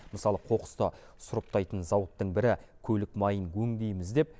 мысалы қоқысты сұрыптайтын зауыттың бірі көлік майын өңдейміз деп